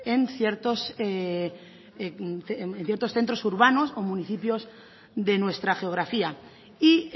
en ciertos centros centros urbanos o municipios de nuestra geografía y